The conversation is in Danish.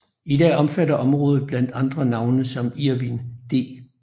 I dag omfatter området blandt andre navne som Irvin D